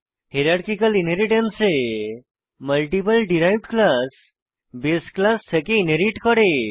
hierarchical inheritance এ multiple derived class বাসে class থেকে ইনহেরিট করে